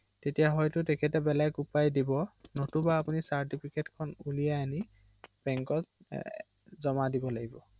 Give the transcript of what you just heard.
হয়